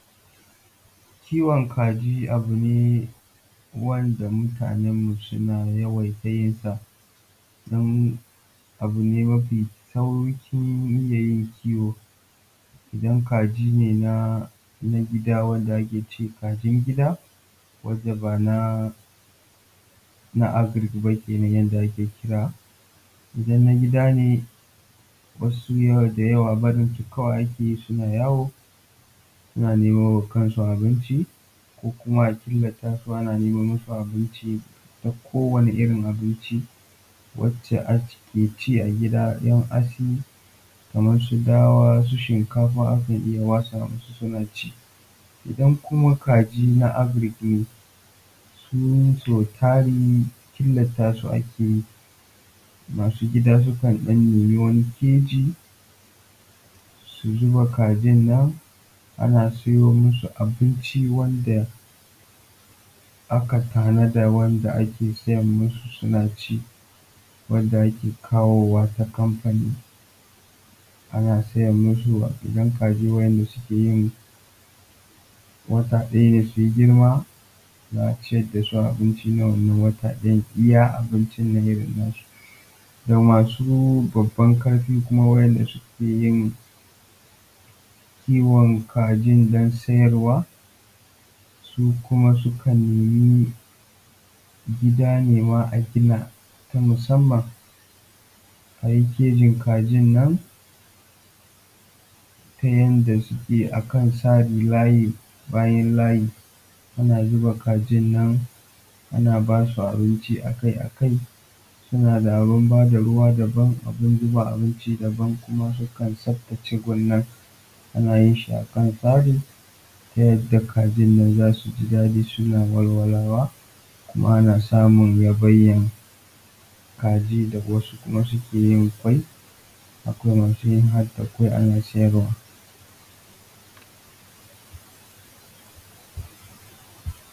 Kiwon kaji abu ne wanda mutanen mu suna yawaita yinsa, don abu ne mafi sauƙi iyayin kiwo. Idan kaji ne na gida wanda ake ci, kajin gida wanda bana agric ba kenan yanda ake kira, idan na gida ne wasu sau da yawa barin su kawai ake yi suna yawo suna nemawa kansu abinci, ko kuma a killata su ana neman masu abinci na kowane irin abinci wacce ake ci a gida kaman su hatsi, su dawa, su shinkafa ake iya watsa masu suna ci. Idan kuma kaji na agric ne su sau tari killata su ake yi, masu gida sukan ɗan nemi wani keji su zuba kajin nan. Ana siyo masu abinci wanda aka tanada wanda ake siyan masu suna ci wanda ake kawo wa ta kamfani. A na siyan masu idan kaji wanda su yin wata ɗaya ne su yi girma, za a ciyar da su abinci na wannan wata ɗayan, iya abincin nan irin na su. Ga masu baban ƙarfi kuma waɗanda suke yin kiwon kajin don sayarwa, su kuma sukan yi gida nema gida a gina ta musanman a yi kejin kajin nan ta yadda yake akan tsare layi bayan layi ana zuba kajin nan ana basu abinci akai-akai, suna da abun bada ruwa daban, abun zuba abin daban, sukan tsaftace gun nan ana yin shi akan tsari ta yadda kajin nan za su ji daɗi suna walwalawa, kuma ana samun rabanyan kaji da ga wasu suke yin ƙwai. Akwai masu yi harda ƙwai ana siyarwa.